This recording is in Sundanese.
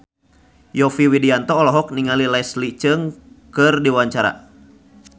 Yovie Widianto olohok ningali Leslie Cheung keur diwawancara